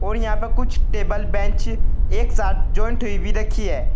और यहां प कुछ टेबल बेंच एक साथ ज्वाइंट हुई भी रखी है।